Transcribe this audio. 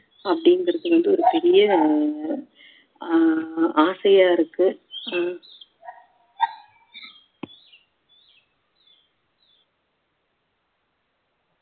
அப்படிங்குறது வந்து ஒரு பெரிய ஆ~ ஆசையா இருக்கு ஆஹ்